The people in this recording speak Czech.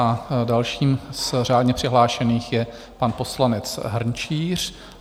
A dalším z řádně přihlášených je pan poslanec Hrnčíř.